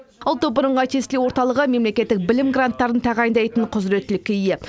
ұлттық бірыңғай тестілеу орталығы мемлекеттік білім гранттарын тағайындайтын құзыреттілікке ие